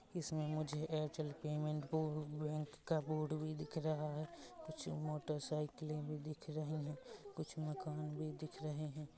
इसमे मुझे Airtel payment बो बैंक का बोर्ड भी दिख रहा है कुछ मोटर साइकिले भी दिख रही है कुछ मकान भी दिख रहे है ।